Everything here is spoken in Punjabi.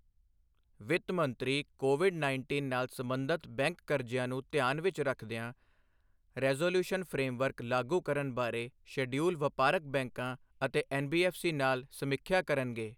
ਵਿੱਤ ਮੰਤਰੀ ਕੋਵਿਡ ਉੱਨੀ ਨਾਲ ਸਬੰਧਤ ਬੈਂਕ ਕਰਜ਼ਿਆਂ ਨੂੰ ਧਿਆਨ ਵਿੱਚ ਰੱਖਦਿਆਂ ਰੈਜ਼ੋਲੂਉਸ਼ਨ ਫਰੇਮਵਰਕ ਲਾਗੂ ਕਰਨ ਬਾਰੇ ਸ਼ੇਡਯੂਲਡ ਵਪਾਰਕ ਬੈਂਕਾਂ ਅਤੇ ਐਨਬੀਐਫਸੀ ਨਾਲ ਸਮੀਖਿਆ ਕਰਨਗੇ